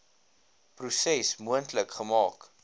proses moontlik gemaak